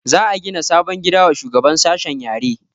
Za a gina sabon gida wa shugaban sashen yare